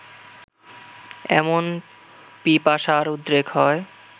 এমন পিপাসার উদ্রেক হয়